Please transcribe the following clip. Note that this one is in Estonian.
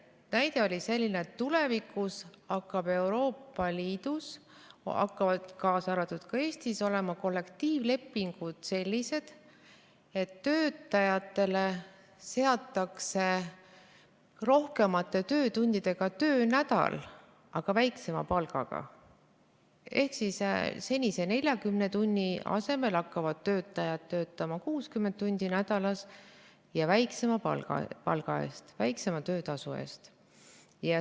Näide oli selline, et tulevikus hakkavad Euroopa Liidus, kaasa arvatud Eestis, olema sellised kollektiivlepingud, et töötajatele seatakse rohkemate töötundidega, aga väiksema palgaga töönädal, ehk siis senise 40 tunni asemel hakkavad töötajad töötama 60 tundi nädalas ja väiksema palga, väiksema töötasu eest.